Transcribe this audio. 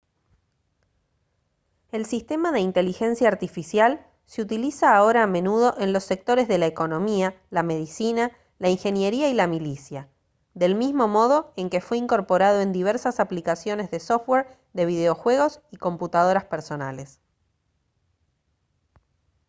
el sistema de inteligencia artificial se utiliza ahora a menudo en los sectores de la economía la medicina la ingeniería y la milicia del mismo modo en que fue incorporado en diversas aplicaciones de software de videojuegos y computadoras personales